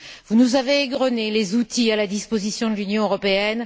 Vous nous avez égrené les outils à la disposition de l'Union européenne.